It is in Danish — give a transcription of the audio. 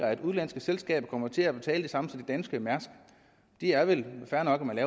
at udenlandske selskaber kommer til at betale det samme som danske mærsk og det er vel fair nok at man